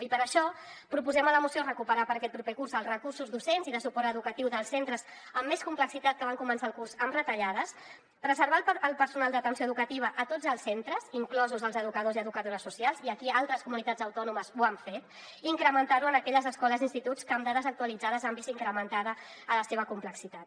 i per això proposem a la moció recuperar per a aquest proper curs els recursos docents i de suport educatiu dels centres amb més complexitat que van començar el curs amb retallades preservar el personal d’atenció educativa a tots els centres inclosos els educadors i educadores socials i aquí altres comunitats autònomes ho han fet i incrementar lo en aquelles escoles i instituts que amb dades actualitzades han vist incrementada la seva complexitat